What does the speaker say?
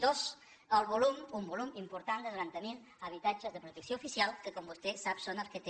dos un volum important de noranta mil habitatges de protecció oficial que com vostè sap són els que té